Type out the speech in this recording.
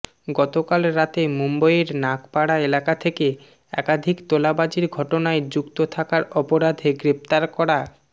গত কাল রাতে মুম্বইয়ের নাগপাড়া এলাকা থেকে একাধিক তোলাবাজির ঘটনায় যুক্ত থাকার অপরাধে গ্রেফতার করা